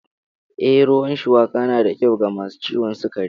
Ee, ruwan shuwaka na da kyau ga masu ciwon sukari.